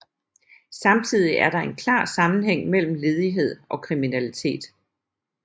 Samtidig er der en klar sammenhæng mellem ledighed og kriminalitet